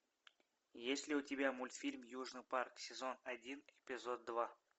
есть ли у тебя мультфильм южный парк сезон один эпизод два